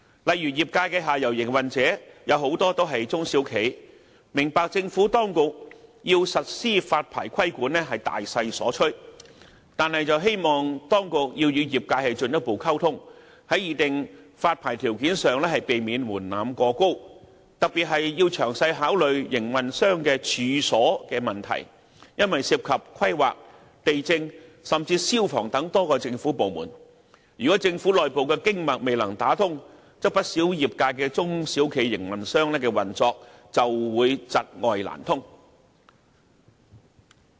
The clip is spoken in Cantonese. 例如，業界的下游營運者，有很多也是中小企，我們明白政府當局要實施發牌規管是大勢所趨，但希望當局要與業界進一步溝通，在擬定發牌條件上避免門檻過高，特別是要詳細考慮營運商的"處所"問題，因為涉及規劃、地政及消防等多個政府部門，如果政府內部的"經脈"未能打通，不少業界的中小企營運商的運作就會窒礙難通。